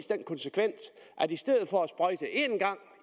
den konsekvens at i stedet for at sprøjte en gang